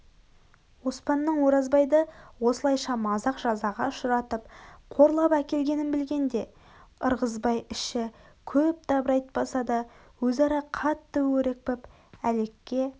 оспанның оразбайды осылайша мазақ жазаға ұшыратып қорлап әкелгенін білгенде ырғызбай іші көп дабырайтпаса да өзара қатты өрекпіп әлекке